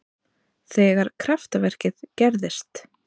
Þegar kraftaverkið gerðist.